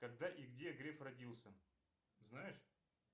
когда и где греф родился знаешь